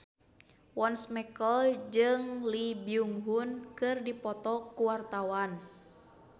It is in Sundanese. Once Mekel jeung Lee Byung Hun keur dipoto ku wartawan